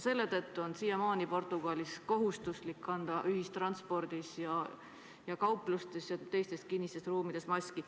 Seetõttu on Portugalis siiamaani kohustuslik kanda ühistranspordis, kauplustes ja teistes kinnistes ruumides maski.